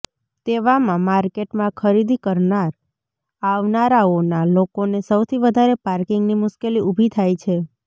તેવામાં માર્કેટમાં ખરીદી કરનાર આવનારાઓના લોકોને સૌથી વધારે પાર્કિંગની મુશ્કેલી ઉભી થાય છે